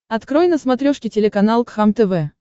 открой на смотрешке телеканал кхлм тв